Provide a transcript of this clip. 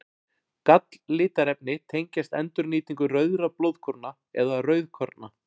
Galllitarefni tengjast endurnýtingu rauðra blóðkorna eða rauðkorna.